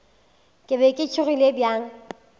ke be ke tšhogile bjang